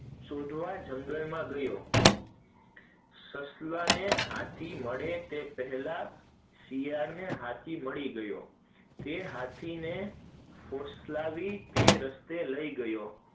શોધવા જંગલ માં ગયો, સસલા ને હાથી અને એ પેલા શિયાળ ને હાથી મલાઈ ગયો, તે હાથી ને ફોસિલવાઈ ને તે રસ્તે લઇ ગયો,